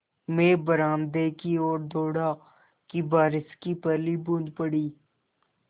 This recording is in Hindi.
मैं बरामदे की ओर दौड़ा कि बारिश की पहली बूँद पड़ी